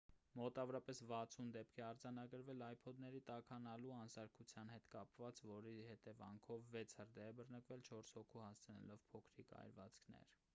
մոտավորապես 60 դեպք է արձանագրվել ipod-ների տաքանալու անսարքության հետ կապված որի հետևանքով վեց հրդեհ է բռնկվել՝ չորս հոգու հասցնելով փոքրիկ այրվածքներ: